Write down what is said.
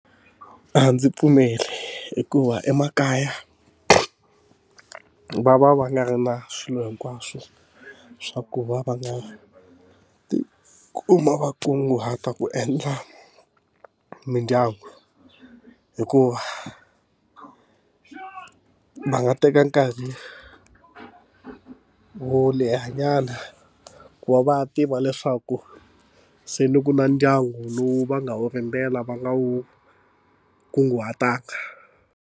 A ndzi pfumeli hikuva emakaya va va va nga ri na swilo hinkwaswo swa ku va va nga ti kuma va kunguhata ku endla mindyangu hikuva va nga teka nkarhi wo lehanyana ku va va tiva leswaku se ni ku na ndyangu lowu va nga wu rimela va nga wu kunguhataka.